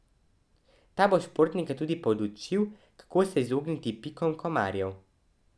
Ta bo športnike tudi podučil, kako se izogniti pikom komarjev.